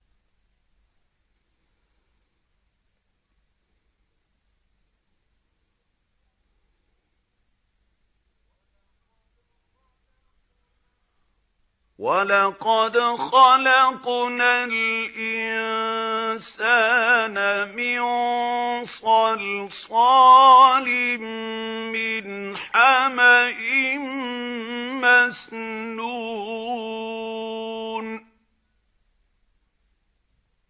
وَلَقَدْ خَلَقْنَا الْإِنسَانَ مِن صَلْصَالٍ مِّنْ حَمَإٍ مَّسْنُونٍ